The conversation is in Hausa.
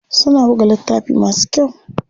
Suna buga littafi masu kyau.